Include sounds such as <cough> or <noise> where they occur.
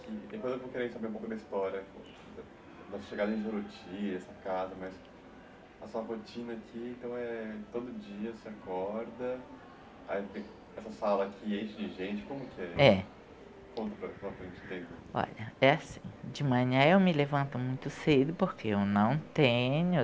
Que tem coisa que eu queria saber um pouco da história da da da sua chegada em Juruti, essa casa, mas a sua rotina aqui, então é todo dia você acorda, aí tem essa sala aqui enche de gente, como que é? É. Conta. <unintelligible> Olha é assim, de manhã eu me levanto muito cedo porque eu não tenho